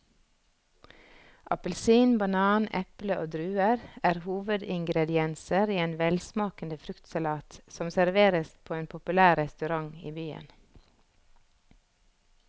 Appelsin, banan, eple og druer er hovedingredienser i en velsmakende fruktsalat som serveres på en populær restaurant i byen.